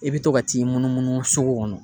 I bi to ka t'i munumunu sugu kɔnɔ